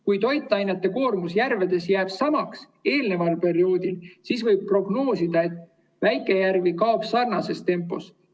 Kui toitainete koormus järvedes jääb samaks kui eelneval perioodil, siis võib prognoosida, et väikejärvi kaob sarnases tempos.